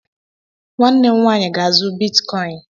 Nwanne m nwaanyị ga-azụ bitkọin.